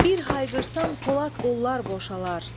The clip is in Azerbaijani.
Bir hayqırsam Polad qollar boşalar.